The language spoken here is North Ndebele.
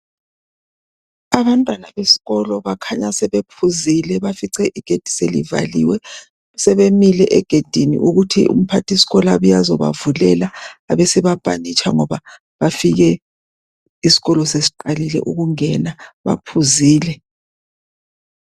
Abantwana besikolo bakhanya sebephuzile bafice igedi selivaliwe sebemile egedini ukuthi umphathisikolo abuye azobavulela abesebapanitsha ngoba bafike isikolo sesiqalile ukungena baphuzile.